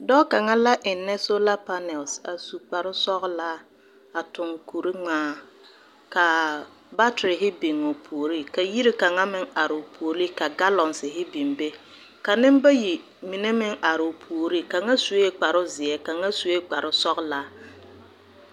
Dɔɔ kaŋa la ennɛ solapanɛl a su kparsɔglaa a toŋ kurŋmaa. Kaa baterhe biŋuu o puori, ka yiri kaŋa meŋ are o puoli, ka galɔnsehe biŋ be. Ka nembayi mine meŋ are o puori, kaŋa sue kparozeɛ kaŋa sue kparosɔglaa.